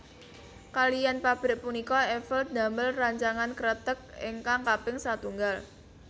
Kaliyan pabrik punika Eiffel ndamel rancangan kreteg ingkang kaping satunggal